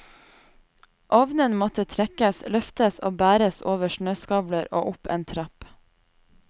Ovnen måtte trekkes, løftes og bæres over snøskavler og opp en trapp.